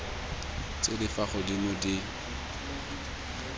tse di fa godimo di